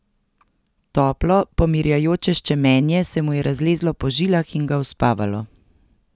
Toplo, pomirjajoče ščemenje se mu je razlezlo po žilah in ga uspavalo.